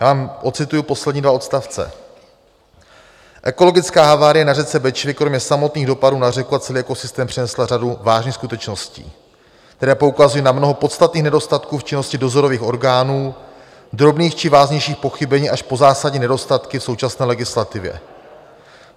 Já vám odcituji poslední dva odstavce: "Ekologická havárie na řece Bečvě kromě samotných dopadů na řeku a celý ekosystém přinesla řadu vážných skutečností, které poukazují na mnoho podstatných nedostatků v činnosti dozorových orgánů, drobných či vážnějších pochybení až po zásadní nedostatky v současné legislativě.